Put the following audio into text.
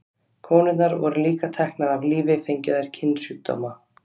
Konurnar voru líka teknar af lífi fengju þær kynsjúkdóma.